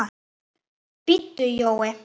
BÍDDU JÓI.